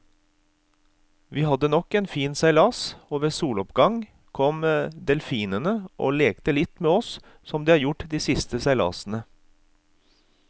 Vi hadde nok en fin seilas, og ved soloppgang kom delfinene og lekte litt med oss som de har gjort de siste seilasene.